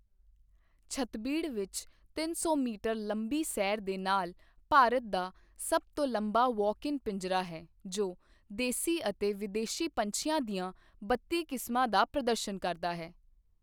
ਛੱਤਬੀੜ ਵਿੱਚ ਤਿੰਨ ਸੌ ਮੀਟਰ ਲੰਬੀ ਸੈਰ ਦੇ ਨਾਲ ਭਾਰਤ ਦਾ ਸਭ ਤੋਂ ਲੰਬਾ ਵਾਕ ਇਨ ਪਿੰਜਰਾ ਹੈ ਜੋ ਦੇਸੀ ਅਤੇ ਵਿਦੇਸ਼ੀ ਪੰਛੀਆਂ ਦੀਆਂ ਬੱਤੀ ਕਿਸਮਾਂ ਦਾ ਪ੍ਰਦਰਸ਼ਨ ਕਰਦਾ ਹੈ।